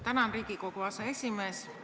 Tänan, Riigikogu aseesimees!